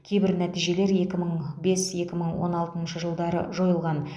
кейбір нәтижелер екі мың бес екі мың он алтыншы жылдары жойылған